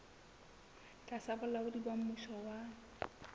tlasa bolaodi ba mmuso wa